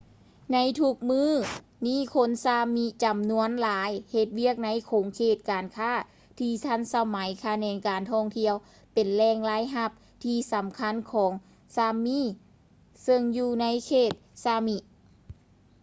ໃນທຸກມື້ນີ້ຄົນ ຊາມິ sámi ຈຳນວນຫຼາຍເຮັດວຽກໃນຂົງເຂດການຄ້າທີ່ທັນສະໄໝ. ຂະແໜງການທ່ອງທ່ຽວເປັນແຫຼ່ງລາຍຮັບທີ່ສຳຄັນຂອງ ຊາບມິ sápmi,ຊຶ່ງຢູ່ໃນເຂດ ຊາມິ sámi